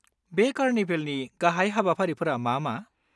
बे कार्निभेलनि गाहाय हाबाफारिफोरा मा मा?